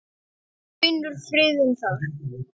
Finnur friðinn þar.